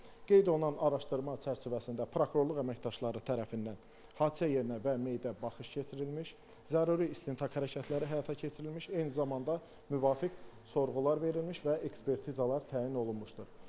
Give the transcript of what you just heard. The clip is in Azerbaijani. Qeyd olunan araşdırma çərçivəsində prokurorluq əməkdaşları tərəfindən hadisə yerinə və meyidə baxış keçirilmiş, zəruri istintaq hərəkətləri həyata keçirilmiş, eyni zamanda müvafiq sorğular verilmiş və ekspertizalar təyin olunmuşdur.